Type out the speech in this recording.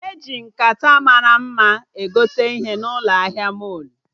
Eji nkata mara mma egote ihe n'ụlọ ahịa mọlụ